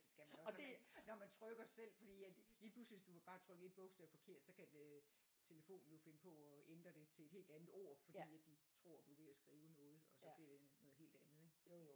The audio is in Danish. Og det når man trykker selv fordi at lige pludselig hvis du bare trykker 1 bogstav forkert så kan øh telefonen jo finde på at ændre det til et helt andet ord fordi at de tror du er ved at skrive noget og så bliver det noget helt andet ik